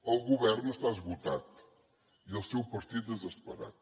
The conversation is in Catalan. el govern està esgotat i el seu partit desesperat